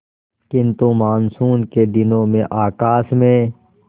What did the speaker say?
किंतु मानसून के दिनों में आकाश में